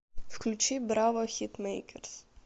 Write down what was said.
включи брава хитмэйкерс